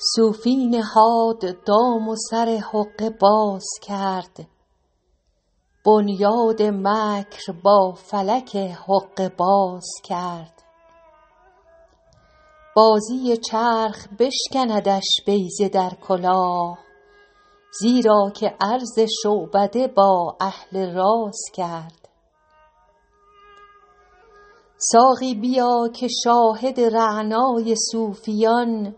صوفی نهاد دام و سر حقه باز کرد بنیاد مکر با فلک حقه باز کرد بازی چرخ بشکندش بیضه در کلاه زیرا که عرض شعبده با اهل راز کرد ساقی بیا که شاهد رعنای صوفیان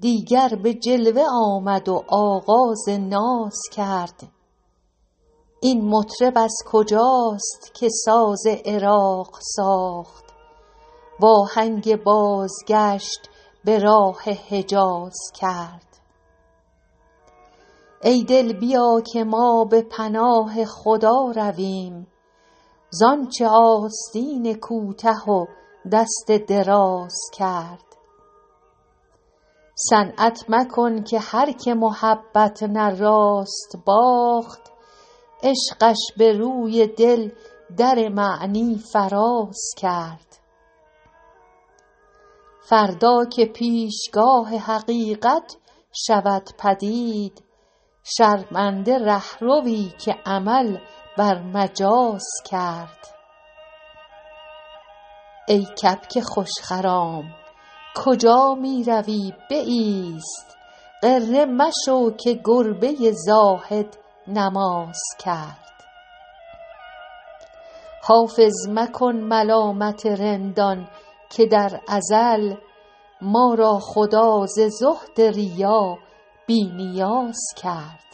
دیگر به جلوه آمد و آغاز ناز کرد این مطرب از کجاست که ساز عراق ساخت وآهنگ بازگشت به راه حجاز کرد ای دل بیا که ما به پناه خدا رویم زآنچ آستین کوته و دست دراز کرد صنعت مکن که هرکه محبت نه راست باخت عشقش به روی دل در معنی فراز کرد فردا که پیشگاه حقیقت شود پدید شرمنده رهروی که عمل بر مجاز کرد ای کبک خوش خرام کجا می روی بایست غره مشو که گربه زاهد نماز کرد حافظ مکن ملامت رندان که در ازل ما را خدا ز زهد ریا بی نیاز کرد